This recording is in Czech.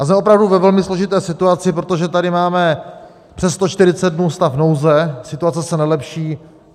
A jsme opravdu ve velmi složité situaci, protože tady máme přes 140 dnů stav nouze, situace se nelepší.